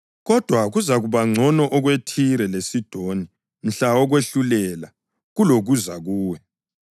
Kodwa kuzakuba ngcono okweThire leSidoni mhla wokwahlulela kulokuza kuwe.